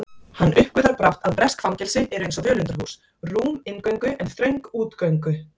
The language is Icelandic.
Hann uppgötvar brátt að bresk fangelsi eru einsog völundarhús, rúm inngöngu en þröng útgöngu